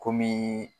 Komi